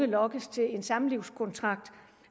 lokkes til en samlivskontrakt